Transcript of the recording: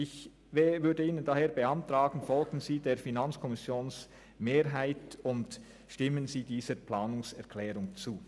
Ich beantrage Ihnen daher, der FiKo-Mehrheit zu folgen und dieser Planungserklärung zuzustimmen.